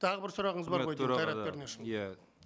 тағы бір сұрағыңыз бар ғой деймін қайрат пернешұлы иә